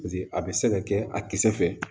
Paseke a bɛ se ka kɛ a kisɛ fɛ